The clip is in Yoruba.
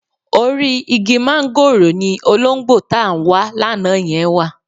Orí igi máńgòrò ni olóńgbò tá ń wa lánàá yẹn wà